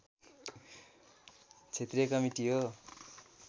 क्षेत्रीय कमिटी हो